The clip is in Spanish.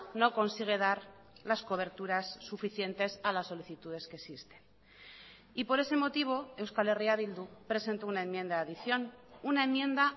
no consigue dar las coberturas suficientes a las solicitudes que existen y por ese motivo euskal herria bildu presentó una enmienda de adición una enmienda